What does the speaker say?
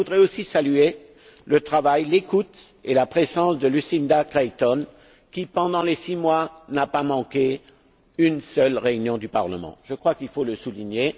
Mais je voudrais aussi saluer le travail, l'écoute et la présence de Lucinda Creighton, qui, pendant les six mois, n'a pas manqué une seule réunion du Parlement. Je crois qu'il faut le souligner.